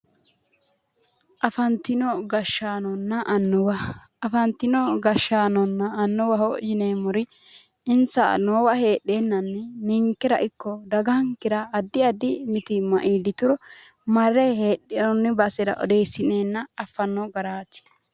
Afantino gashshaanonna annuwa affantino gashshaanonna annuwaho yineemmori insa noowa heedheennanni ninkera ikko dagankera addi addi mitiimma iillituro marre heedhanno basera odeessi'neenna affanno garaati